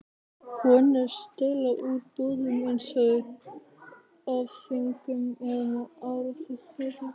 Konur stela úr búðum, eins og af þvingun eða áráttu.